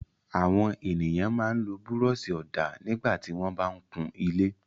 Àwọn ènìyàn máa ń lo búrọ́ṣì-ọ̀dà nígbà tí wọ́n bá ń kun ilé.